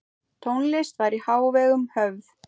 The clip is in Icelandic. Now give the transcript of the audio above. Tónlist var í hávegum höfð.